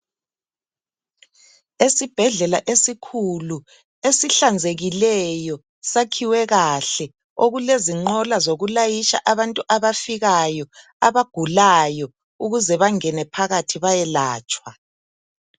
Esibhedlela esikhulu esihlanzekileyo sakhiwe kahle okulezinqola zokulayitsha abantu abafikayo abagulayo ukuze bangene phakathi bayelatshwa.